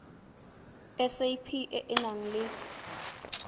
sap e e nang le